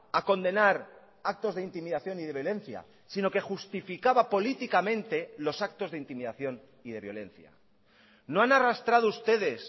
a condenar actos de intimidación y de violencia sino que justificaba políticamente los actos de intimidación y de violencia no han arrastrado ustedes